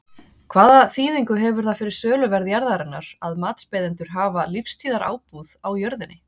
Hvaða þýðingu hefur það fyrir söluverð jarðarinnar að matsbeiðendur hafa lífstíðarábúð á jörðinni?